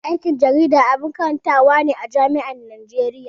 Aikin jarida abun karantawa ne a jami'an Najeriya.